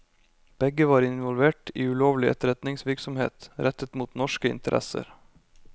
Begge var involvert i ulovlig etterretningsvirksomhet rettet mot norske interesser.